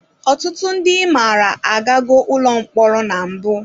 Ọtụtụ ndị ị maara agago ụlọ mkpọrọ na mbụ.